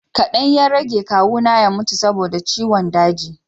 kadan ya rage kawu na ya mutu saboda ciwon daji